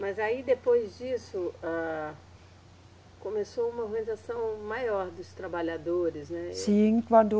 Mas aí, depois disso, âh, começou uma organização maior dos trabalhadores, né? Sim, quando